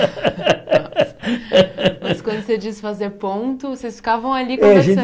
Mas quando você diz fazer ponto, vocês ficavam ali